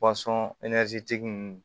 tigi nunnu